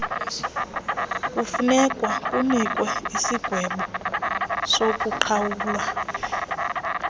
kufunekwa kunikwe isigwebosokuqhawula